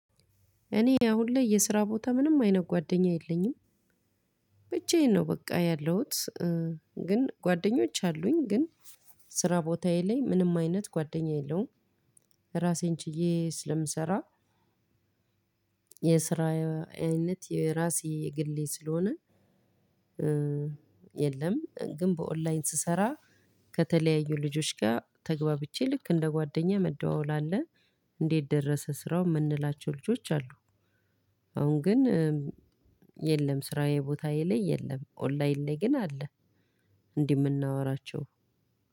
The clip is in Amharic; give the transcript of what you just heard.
እኔ አሁን ላይ የስራ ቦታ ምንም አይነት ጓደኛ የለኝም ብቻዬን ነው በቃ ያለሁት። ግን ጓደኞች አሉኝ ግን። ስራ ቦታዬ ላይ ምንም አይነት ጓደኛ የለውም። ራሴን ችዬ ስለምሰራ። የስራ አይነት የራሴ የግሌ ስለሆነ። የለም ግን በኦንላይን ስሰራ። ከተለያዩ ልጆች ጋር ተግባብቼ ልክ እንደ ጓደኛ መደዋወል አለ። እንዴት ደረሰ ስራው የምንላቸው ልጆች አሉ። አሁን ግን። የለም ስራዬ ቦታ ላይ የለም ኦንላይን ላይ ግን አለ። እንዴ የምናወራቸው